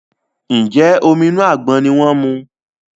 Njé Omi inú àgbọn ní wón mu?